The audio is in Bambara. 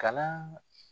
Kalan